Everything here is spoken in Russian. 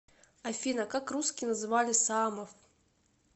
афина как русские называли саамов